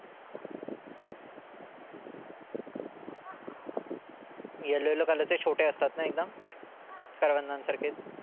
Yellow yellow चे छोटे असतात ना एकदम? करवंदांसारखेच?